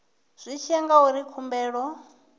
zwi tshi ya ngauri khumbelo